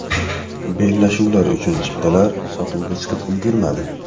Bellashuvlar uchun chiptalar sotuvga chiqib ulgurmadi.